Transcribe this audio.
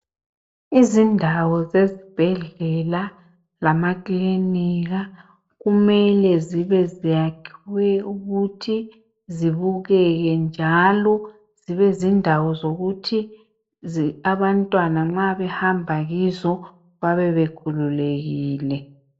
Izindawo zezibhedlela lama kilinika kumele ziyakhiwe ukuthi zibukeke njalo kube zindawo zokuthi abantwana nxa behamba kizo bebe bekhululekile.